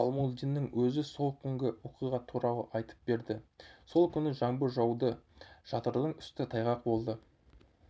балмулдинның өзі сол күнгі оқиға туралы айтып берді сол күні жаңбыр жауды шатырдың үсті тайғақ болды